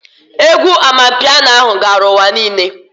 Egwu Amanpiano ahụ gara ụwa niile